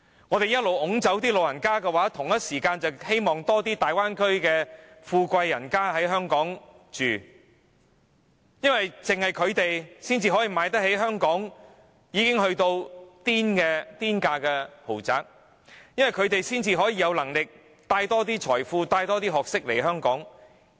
我們一直把長者趕走，同時間卻希望更多大灣區的富貴人家在香港居住，因為只有他們才可以負擔香港已經到了"癲價"的豪宅，才可以有能力為香港帶來更多財富、學識。